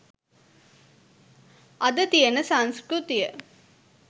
අද තියෙන සංස්කෘතිය.